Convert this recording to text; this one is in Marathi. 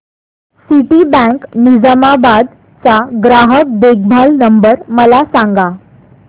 सिटीबँक निझामाबाद चा ग्राहक देखभाल नंबर मला सांगा